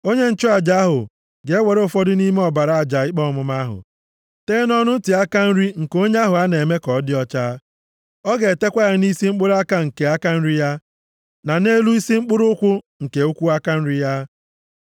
Onye nchụaja ahụ ga-ewere ụfọdụ nʼime ọbara aja ikpe ọmụma ahụ, tee nʼọnụ ntị aka nri nke onye ahụ a na-eme ka ọ dị ọcha. Ọ ga-etekwa ya nʼisi mkpụrụ aka nke aka nri ya, na nʼelu isi mkpụrụ ụkwụ nke ụkwụ aka nri ya.